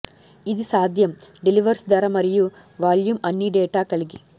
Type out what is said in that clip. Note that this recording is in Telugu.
ఇది సాధ్యం డెలివల్స్ ధర మరియు వాల్యూమ్ అన్ని డేటా కలిగి